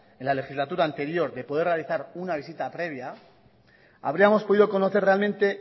en la legislatura anterior de poder realizar una visita previa habríamos podido conocer realmente